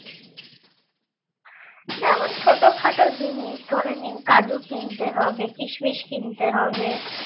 যেমন ছোট খাটো জিনিস ধরে নিন কাজু কিনতে হবে কিসমিস কিনতে হবে